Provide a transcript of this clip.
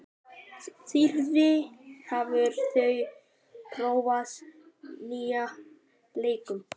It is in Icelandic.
Þyrí, hefur þú prófað nýja leikinn?